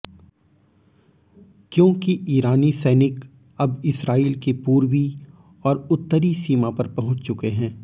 क्योंकि ईरानी सैनिक अब इस्राईल की पूर्वी और उत्तरी सीमा पर पहुंच चुके हैं